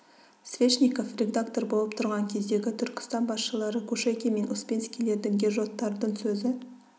свешников редактор болып тұрған кездегі түркістан басшылары кушекин мен успенскийлердің гержоттардың сөзі